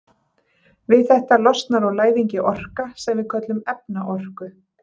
Við þetta losnar úr læðingi orka sem við köllum efnaorku.